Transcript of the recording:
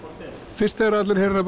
fyrst þegar allir heyra